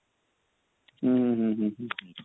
ଉଁ ହୁଁ ହୁଁ ହୁଁ ହୁଁ